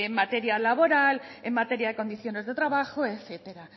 material laboral en materia de condiciones de trabajo etcétera